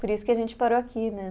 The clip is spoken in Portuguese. Por isso que a gente parou aqui, né?